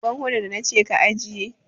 Ban hodar da na ce ka ajiye!